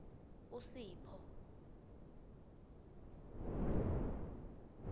usipho